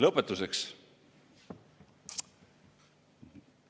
Lõpetuseks.